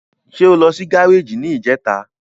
Ṣé o lọ sí gáràjì ní ìjẹta?